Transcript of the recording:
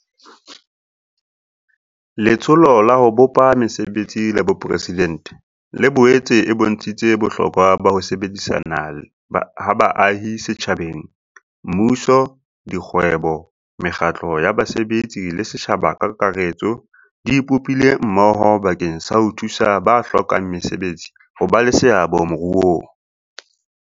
Letsholo la ho Bopa Mese betsi la Boporesidente le boetse e bontshitse bohlokwa ba ho sebedisana ha baahi setjhabeng Mmuso, dikgwebo, mekgatlo ya basebetsi le setjhaba ka kakaretso di ipopile mmoho bakeng sa ho thusa ba hlokang mesebetsi ho ba le seabo moruong.